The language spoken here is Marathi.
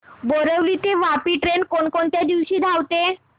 बोरिवली ते वापी ट्रेन कोण कोणत्या दिवशी धावते